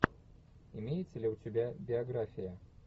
имеется ли у тебя биография